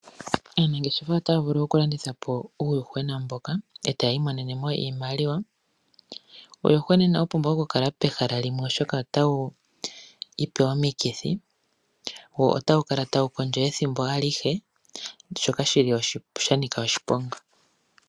Aanangeshefa otaya vulu okulandithapo uuyuhwena mboka etaya mono iimaliwa. Uuyuhwena inawu pumbwa oku kala pehala limwe oshoka otawu vulu okwiipa omikithi wo otawu kala tawu kondjo ethimbo alihe.